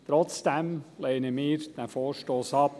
Trotzdem lehnen wir diesen Vorstoss ab.